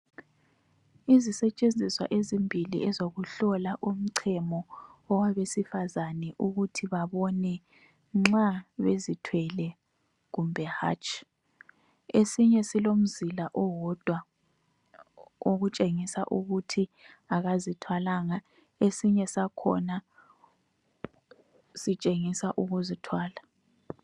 Izisetshenziswa ezimbili ezokuhlola umchemo owabesifazana ukuthi babone nxa bezithwele kumbe hatshi. Esinye silomzila owodwa okutshengisa ukuthi akazithwalanga, esinye sakhona sitshengisa ukuzithwala.